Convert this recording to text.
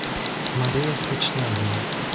мария скочнягина